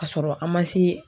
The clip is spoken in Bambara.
K'a sɔrɔ an ma se